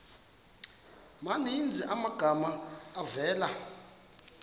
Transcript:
maninzi amagama avela